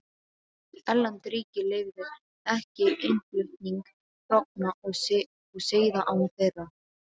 Erlend ríki leyfðu ekki innflutning hrogna og seiða án þeirra.